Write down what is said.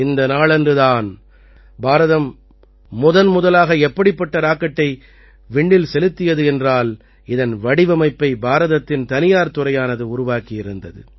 இந்த நாளன்று தான் பாரதம் முதன்முதலாக எப்படிப்பட்ட ராக்கெட்டை விண்ணில் செலுத்தியது என்றால் இதன் வடிவமைப்பை பாரதத்தின் தனியார் துறையானது உருவாக்கியிருந்தது